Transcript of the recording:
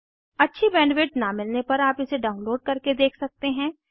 अच्छी बैंडविड्थ न मिलने पर आप इसे डाउनलोड करके देख सकते हैं